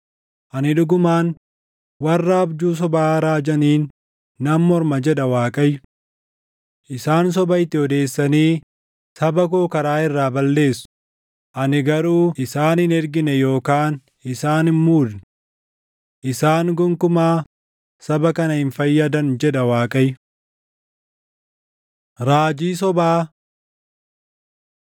“Ani dhugumaan warra abjuu sobaa raajaniin nan morma” jedha Waaqayyo, “Isaan soba itti odeessanii saba koo karaa irraa balleessu; ani garuu isaan hin ergine yookaan isaan hin muudne. Isaan gonkumaa saba kana hin fayyadan” jedha Waaqayyo. Raajii Sobaa